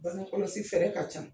Bagekɔlɔsi fɛɛrɛ ka ca.